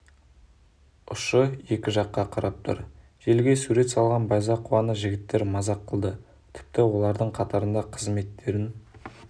ұшы екі жаққа қарап тұр желіге сурет салған байзақованы жігіттер мазақ қылды тіпті олардың қатарында қызметтерін